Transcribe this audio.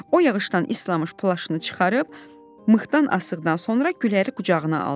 O yağışdan islanmış plaşını çıxarıb, mıxdan asıqdan sonra Güləri qucağına aldı.